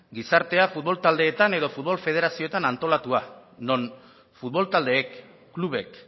gizartea futbol taldeetan edo futbol federazioetan antolatua non futbol taldeek klubek